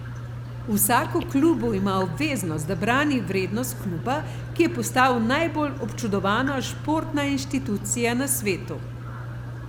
Vsak v klubu ima obveznost, da brani vrednost kluba, ki je postal najbolj občudovana športna institucija na svetu.